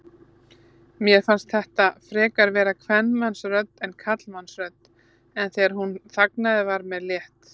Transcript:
Mér fannst þetta frekar vera kvenmannsrödd en karlmannsrödd, en þegar hún þagnaði var mér létt.